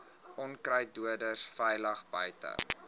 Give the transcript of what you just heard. onkruiddoders veilig buite